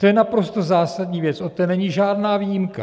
To je naprosto zásadní věc, od té není žádná výjimka.